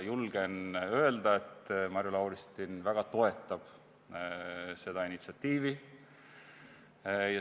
Julgen öelda, et Marju Lauristin väga toetab seda initsiatiivi.